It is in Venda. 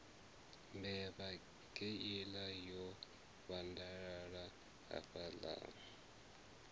mbevha kheiḽa yo vhandalala hafhaḽa